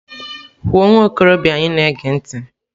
Kwuo nwa okorobịa anyị na-ege ntị!.